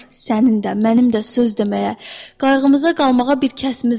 Sənin də, mənim də söz deməyə, qayğımıza qalmağa bir kəsimiz var.